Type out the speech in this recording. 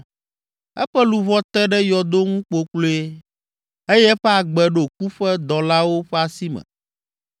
Eƒe luʋɔ te ɖe yɔdo ŋu kpokploe, eye eƒe agbe ɖo ku ƒe dɔlawo ƒe asi me.